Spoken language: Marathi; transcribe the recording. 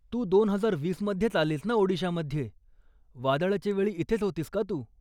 तू दोन हजार वीस मध्येच आलीस ना ओडिशामध्ये, वादळाच्या वेळी इथेच होतीस का तू?